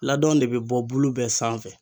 Ladɔn de bi bɔ bulu bɛɛ sanfɛ.